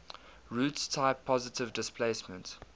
roots type positive displacement